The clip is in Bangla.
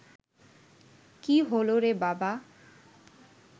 কী হলো রে বাবা